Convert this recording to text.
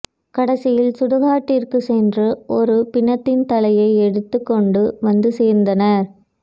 கடைசியில் சுடுகாட்டிற்குச் சென்று ஒரு பிணத்தின் தலையை எடுத்துக் கொண்டு வந்து சேர்ந்தனர்